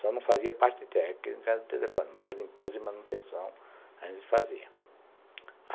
Só não fazia parte técnica de telefone, mas a limpeza e manutenção a gente fazia.